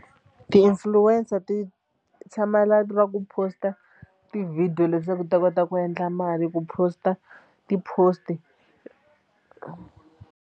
Ti-influencer ti tshamela ra ku post-a ti-video leswaku ti ta kota ku endla mali ku post-a ti-post.